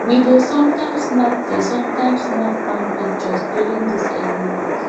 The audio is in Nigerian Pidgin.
we dey sometimes snap dey sometimes snap farm pictures during these early walks